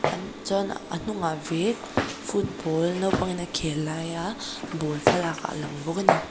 an chuan a hnungah vek football naupangin a khel laia ball thlalak a lang bawk a ni.